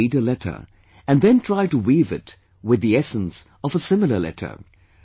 I read a letter & then try to weave it with the essence of a similar letter